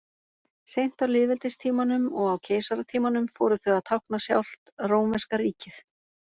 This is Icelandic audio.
Seint á lýðveldistímanum og á keisaratímanum fóru þau að tákna sjálft rómverska ríkið.